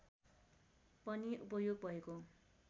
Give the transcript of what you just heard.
पनि उपयोग भएको